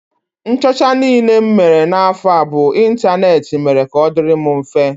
Nchọcha niile m mere n'afọ a bụ ịntaneetị mere ka ọ dịịrị m mfe